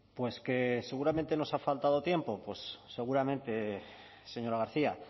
pues que seguramente nos ha faltado tiempo pues seguramente señora garcia